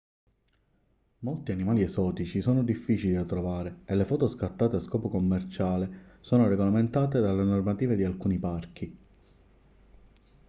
molti animali esotici sono difficili da trovare e le foto scattate a scopo commerciale sono regolamentate dalle normative di alcuni parchi